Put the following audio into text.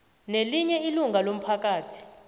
nelinye ilunga lomphakathi